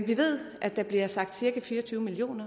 vi ved at der bliver sagt cirka fire og tyve million